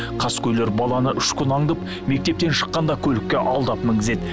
қаскөйлер баланы үш күн аңдып мектептен шыққанда көлікке алдап мінгізеді